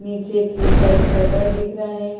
नीचे की side shutter दिख रहे --